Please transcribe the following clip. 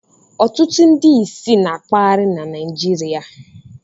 Ọtụtụ ndị ìsì na-akpagharị na Naịjirịa.